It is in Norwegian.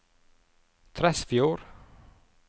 Tresfjord